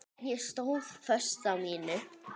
Ég stóð föst á mínu.